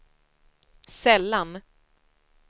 sällan